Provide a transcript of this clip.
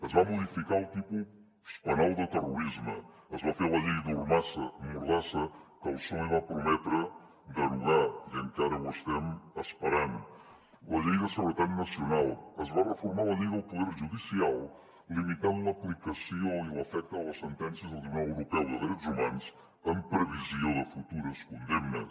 es va modificar el tipus penal de terrorisme es va fer la llei mordassa que el psoe va prometre derogar i encara ho estem esperant la llei de seguretat nacional es va reformar la llei del poder judicial limitant l’aplicació i l’efecte de les sentències del tribunal europeu dels drets humans en previsió de futures condemnes